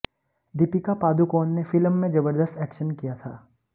दीपिका पादुकोण ने फिल्म में जबरदस्त एक्शन किया था